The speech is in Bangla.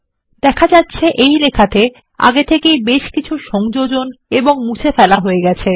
দেখা যাচ্ছে এই নথিতে বেশ কিছু সংযোজন ও মুছে ফেলা হয়ে গেছে